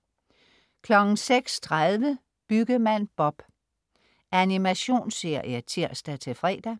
06.30 Byggemand Bob. Animationsserie (tirs-fre)